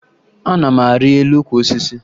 Ana m arị elu ukwu osisi